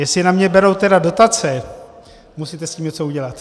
Jestli na mě teda berou dotace, musíte s tím něco udělat.